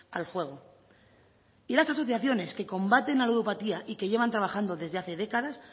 al juego y las asociaciones que combaten la ludopatía y que llevan trabajando desde hace décadas